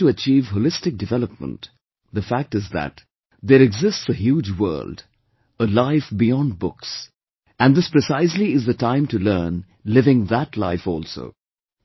If one has to achieve holistic development, the fact is that there exists a huge world, a life beyond books; and this precisely is the time to learn living that life also